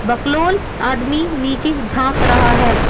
बकलोल आदमी नीचे झांक रहा है।